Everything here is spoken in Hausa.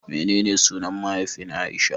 Menene sunan mahaifin Aisha?